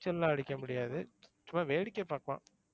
நீச்சல்லாம் அடிக்க முடியாது. சும்மா வேடிக்கை பாக்கலாம்.